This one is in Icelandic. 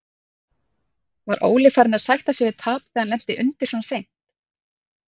Var Óli farinn að sætta sig við tap þegar hann lenti undir svona seint?